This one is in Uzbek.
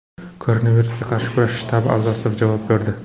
Koronavirusga qarshi kurash shtabi a’zosi javob berdi.